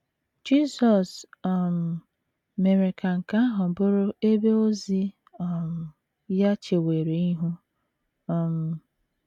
Jisọs um mere ka nke ahụ bụrụ ebe ozi um ya chewere ihu. um